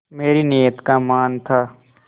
मेरी नीयत का मान था